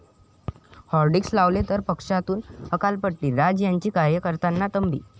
hoardings लावले तर पक्षातून हकालपट्टी, राज यांची कार्यकर्त्यांना तंबी